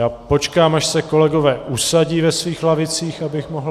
Já počkám, až se kolegové usadí ve svých lavicích, abych mohl...